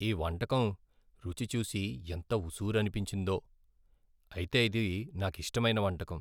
ఈ వంటకం రుచి చూసి ఎంత ఉస్సురనిపించిందో, అయితే ఇది నాకిష్టమైన వంటకం.